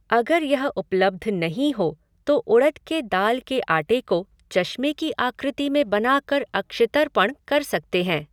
अगर यह उपलब्ध नहीं हो तो उड़द के दाल के आटे को चश्मे की आकृति में बनाकर अक्षितर्पण कर सकते हैं।